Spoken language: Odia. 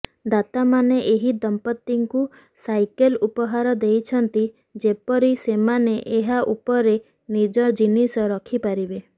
ଦାତାମାନେ ଏହି ଦମ୍ପତିଙ୍କୁ ସାଇକେଲ ଉପହାର ଦେଇଛନ୍ତି ଯେପରି ସେମାନେ ଏହା ଉପରେ ନିଜ ଜିନିଷ ରଖିପାରିବେ